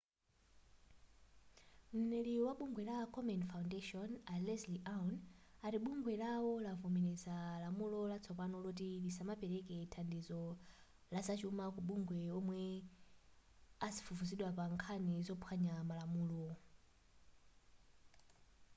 mneneri wa bungwe la komen foundation a leslie aun ati bungwe lawo lavomereza lamulo latsopano loti lisamapereke thandizo lazachuma ku mabungwe omwe akufufuzidwa pa pankhani zophwanya malamulo